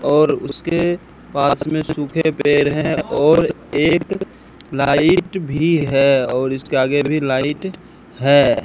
और उसके पास में सूखे पेड़ है और एक लाइट भी है और इसके आगे भी लाइट है।